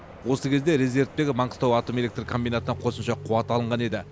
осы кезде резервтегі маңғыстау атом электр комбинатынан қосымша қуат алынған еді